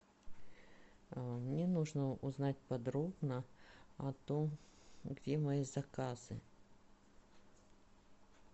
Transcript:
мне нужно узнать подробно о том где мои заказы